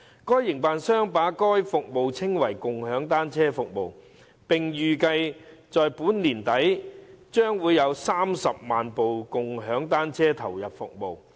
該營辦商把該服務稱為共享單車服務，並預計到本年年底將有30萬部共享單車投入服務。